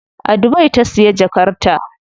A Dubai ta siya jakar ta.